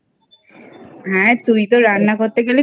তুই তো রান্না করতে গেলে